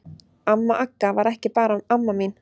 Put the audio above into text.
Amma Agga var ekki bara amma mín.